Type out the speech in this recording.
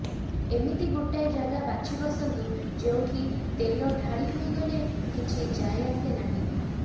ଏମିତି ଗୋଟାଏ ଜାଗା ବାଛି ବସନ୍ତୁ ଯେଉଁଠି ତେଲ ଢାଳି ହୋଇଗଲେ କିଛି ଯାଏ ଆସେ ନାହିଁ